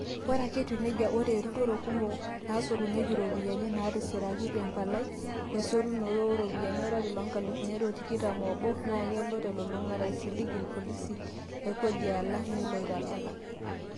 Ata ake eyia nejia, ore utaroto kumok naasotunyiaki iropiyiani naatisiraki te mpalai esotunoto oo ropiyiani, olari loonkalifuni are o tikitam obo naa kelo telulungata aisilig ilpolosia le kodi alang nelo aitalala.